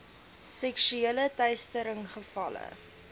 seksuele teistering gevalle